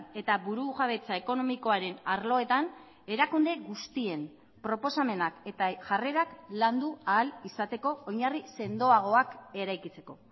eta burujabetza ekonomikoaren arloetan erakunde guztien proposamenak eta jarrerak landu ahal izateko oinarri sendoagoak eraikitzeko